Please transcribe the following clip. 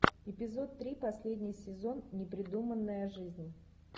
эпизод три последний сезон непридуманная жизнь